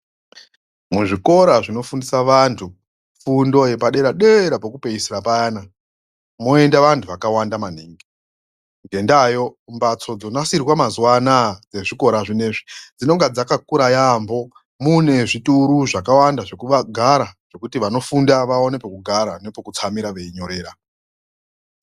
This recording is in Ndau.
Mu zvikora zvino fundisa vantu fundo yepa dera peku peesira payana moenda vantu vakawanda maningi ngee ndayo mbatso dzino nasirwa mazuva anaya dze zvikora zvinezvi dzinonga dzaka kura yambo mune zvituru zvakawanda zveku gara kuitira kuti vanofunda vanoone peku gara neku tsamira